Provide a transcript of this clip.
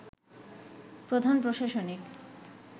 প্রধান প্রশাসনিক